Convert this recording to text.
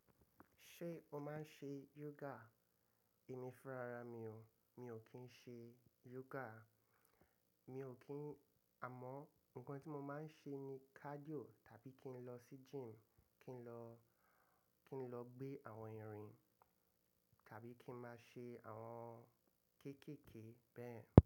Ṣé o máa ń ṣe yoga? Èmi fúnra ra mi o. Mi ò kí ń ṣe yoga. Mi ò kí ń-- àmọ́ ǹkan tí mo máa ń ṣe ni cardio tàbí kí n lọ sí gym, kí n lọ, kí n lọ gbé àwọn irin tàbí kí ń máa ṣe àwọn kéékèèké bẹ́ẹ̀